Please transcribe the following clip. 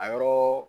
A yɔrɔ